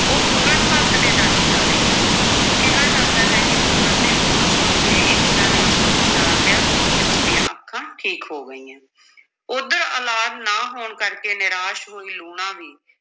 ਉਹ ਪੂਰਨ ਭਗਤ ਦੇ ਦਰਸ਼ਨਾਂ ਲਈ ਆਈ, ਕਿਹਾ ਜਾਂਦਾ ਹੈ ਕਿ ਪੂਰਨ ਦੇ ਬੋਲ ਸੁਣ ਕੇ ਇੱਛਰਾਂ ਨੇ ਉਸ ਨੂੰ ਪਛਾਣ ਲਿਆ ਤੇ ਉਸ ਦੀਆਂ ਅੱਖਾਂ ਠੀਕ ਹੋ ਗਈਆਂ ਉੱਧਰ ਔਲਾਦ ਨਾ ਹੋਣ ਕਰਕੇ ਨਿਰਾਸ਼ ਹੋਈ ਲੂਣਾਂ ਵੀ